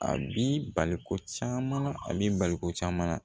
A b'i bali ko caman na a b'i bali ko caman na